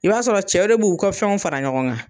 I b'a sɔrɔ cɛ de b'u ka fɛnw fara ɲɔgɔn kan.